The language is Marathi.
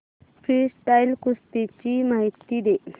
फ्रीस्टाईल कुस्ती ची माहिती दे